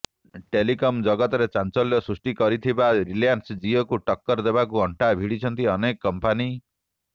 telecom ଜଗତରେ ଚାଂଚଲ୍ୟ ସୃଷ୍ଟି କରିଥିବା ରିଲାଏନ୍ସ ଜିଓକୁ ଟକ୍କର ଦେବାକୁ ଅଂଟା ଭିଡିଛନ୍ତି ଅନେକ କଂପାନୀ